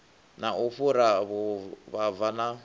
na u fhura vhuvhava na